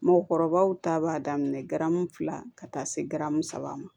Mɔgɔkɔrɔbaw ta b'a daminɛ garamu fila ka taa se garamu saba ma